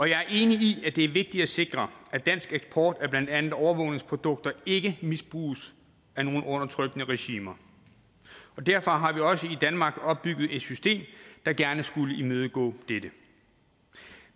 jeg er enig i at det er vigtigt at sikre at dansk eksport af blandt andet overvågningsprodukter ikke misbruges af nogen undertrykkende regimer derfor har vi også i danmark opbygget et system der gerne skulle imødegå dette